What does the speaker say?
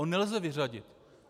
Jeho nelze vyřadit.